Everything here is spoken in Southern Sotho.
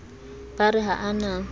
ba re ha a na